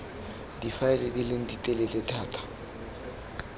difaele di leng ditelele thata